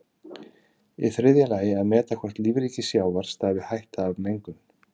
Í þriðja lagi að meta hvort lífríki sjávar stafi hætta af mengun.